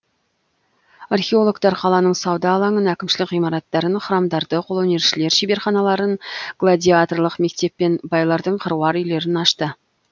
археологтар қаланың сауда алаңын әкімшілік ғимараттарын храмдарды қолөнершілер шеберханаларын гладиаторлық мектеп пен байлардың қыруар үйлерін ашты